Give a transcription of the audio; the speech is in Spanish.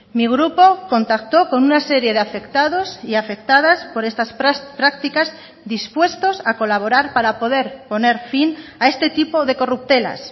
mi grupo contactó con una serie de afectados y afectadas por estas prácticas dispuestos a colaborar para poder poner fin a este tipo de corruptelas